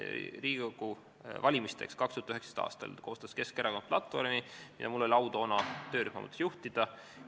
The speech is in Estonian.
Riigikogu valimisteks 2019. aastal koostas Keskerakond platvormi ja mul oli au toona seda töörühma juhtida.